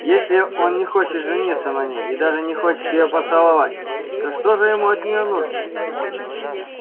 если он не хочет жениться на ней и даже не хочет её поцеловать то что же ему от неё нужно